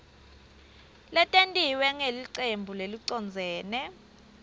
letentiwe ngulelicembu lelicondzene